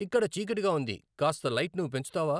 ఇక్కడ చీకటిగా ఉంది కాస్త లైట్ను పెంచుతావా